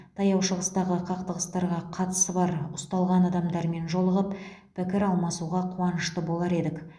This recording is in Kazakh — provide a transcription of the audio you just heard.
таяу шығыстағы қақтығыстарға қатысы бар ұсталған адамдармен жолығып пікір алмасуға қуанышты болар едік